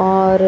और